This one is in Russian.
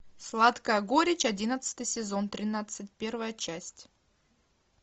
сладкая горечь одиннадцатый сезон тринадцать первая часть